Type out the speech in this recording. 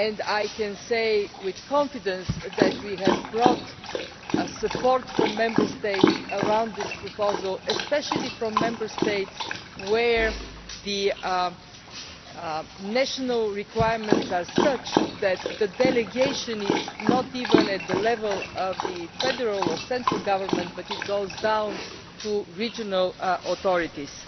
I can say with confidence that we have support from Member States for this proposal, especially from Member States where the national requirements are such that the delegation is not even at the level of federal or central government but goes down to regional authorities.